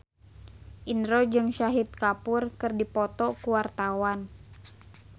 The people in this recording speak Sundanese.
Indro jeung Shahid Kapoor keur dipoto ku wartawan